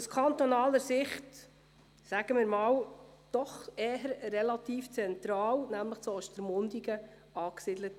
Aus kantonaler Sicht ist es in Ostermundigen doch relativ zentral angesiedelt.